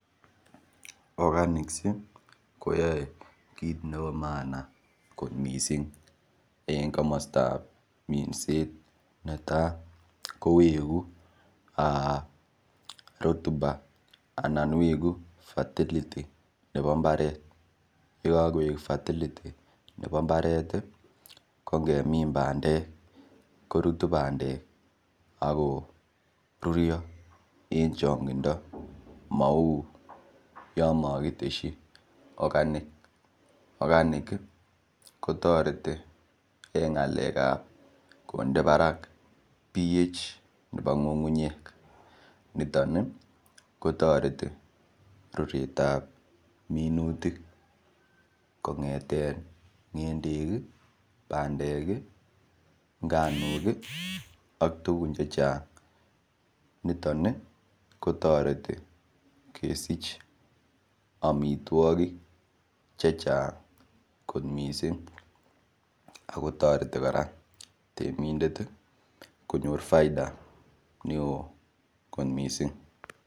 Oganicsiek koyoe kiit nebo maana kot mising eng komostap minset netai koweku rotuba ana weku fertility nebo mbaret yekakowek fertility nebo mbaret kongemin bandek korutu bandek ako rurio eng chong'indo mau yo makiteshi okanik okanik kotoreti eng ng'alek ap konde barak ph nebo ng'ung'unyek niton kotoreti ruret ap minutik kong'ete ng'endek bandek nganok ak tukun chechang niton kotoreti kesich omitwokik che chang kot mising ako toreti kora temindet konyor faida neo kot mising.